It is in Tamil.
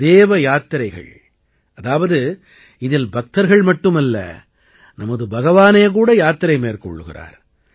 தேவ யாத்திரைகள் அதாவது இதில் பக்தர்கள் மட்டுமல்ல நமது பகவானே கூட யாத்திரை மேற்கொள்கிறார்